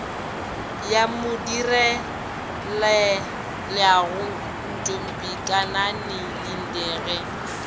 ya modirelaleago ntombikanani linde ge